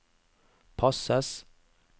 passes